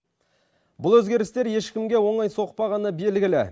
бұл өзгерістер ешкімге оңай соқпағаны белгілі